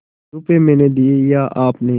रुपये मैंने दिये या आपने